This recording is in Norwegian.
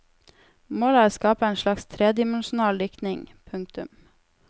Målet er å skape en slags tredimensjonal diktning. punktum